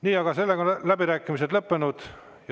Nii, aga nüüd on läbirääkimised lõppenud.